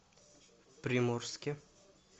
приморске